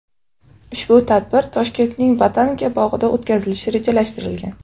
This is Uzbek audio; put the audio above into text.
Ushbu tadbir Toshkentning botanika bog‘ida o‘tkazilishi rejalashtirilgan.